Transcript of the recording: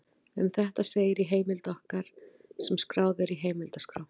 Um þetta segir í heimild okkar sem skráð er í heimildaskrá: